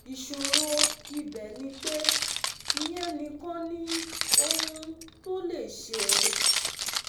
Ìṣòro ibẹ̀ ni pé ìyẹn nìkan ni ohun tó lè ṣe